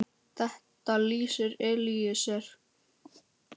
Þetta lýsir Elíeser vel.